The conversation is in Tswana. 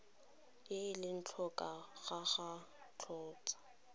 ele tlhoko ga gagwe kgotsa